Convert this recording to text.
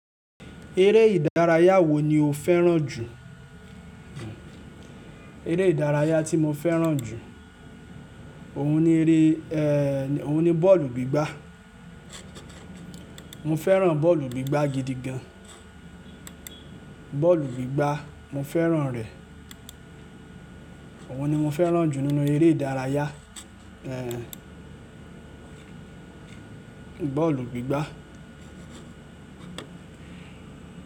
Eré ìdárayá wo ni o fẹ́ràn jù? Eré ìdárayá tí mo fẹ́ràn jù, òun ni eré, ehhh, òun ni bọ́ọ̀lù gbígbá. Mo fẹ́ràn bọ́ọ̀lù gbígbá gidi gan. Bọ́ọ̀lù gbígbá mo fẹ́ràn rẹ̀. Òun ni mo fẹ́ràn jù nínú eré ìdárayá, ehhh, bọ́ọ̀lù gbígbá.